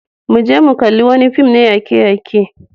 Mu je mu kalli wani fim na yake-yake.